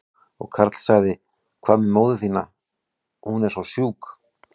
Og Karl sagði, hvað með móður þína, hún er svo sjúk?